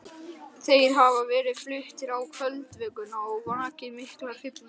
Þeir hafa verið fluttir á kvöldvökunum og vakið mikla hrifningu.